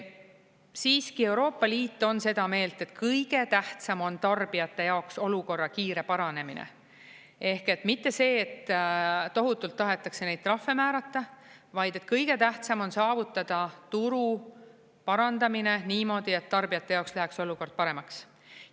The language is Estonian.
Siiski, Euroopa Liit on seda meelt, et kõige tähtsam on tarbijate jaoks olukorra kiire paranemine ehk mitte see, et tohutult tahetakse neid trahve määrata, vaid et kõige tähtsam on saavutada turu parandamine niimoodi, et tarbijate jaoks läheks olukord paremaks.